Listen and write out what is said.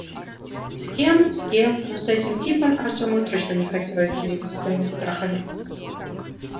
с кем с кем но с этим типом артему точно не хотелось делиться своими страхами